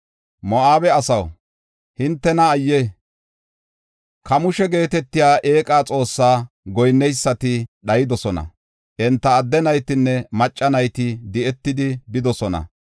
Moo7abe asaw, hintena ayye! Kamoosha geetetiya eeqa xoossaa goyinneysati dhayidosona; enta adde naytinne macca nayti di7etidi bidosona.